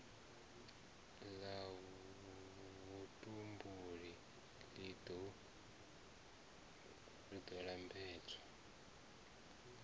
la vhutumbuli li do lambedza